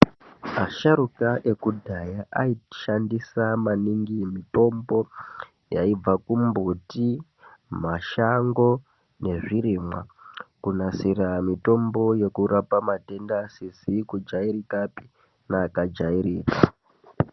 Asharuka ekudhaya aishandisa maningi mitombo yaibva kumbuti, mashango nezvirimwa kunasira mitombo yekurapa matenda asizi kujairikapi neakajairika.